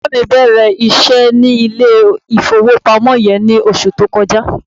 Bàbá mi bẹ̀rẹ̀ iṣẹ́ ní ilé-ìfowópamọ́ yẹn ní oṣù tó kọjá.